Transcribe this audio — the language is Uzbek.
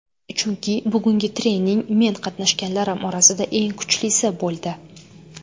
Chunki bugungi trening men qatnashganlarim orasida eng kuchlisi bo‘ldi.